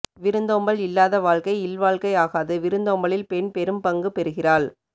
விருந்தோம்பல் இல்லாத வாழ்க்கை இல்வாழ்க்கை ஆகாது விருந்தோம்பலில் பெண் பெரும் பங்கு பெறுகிறாள்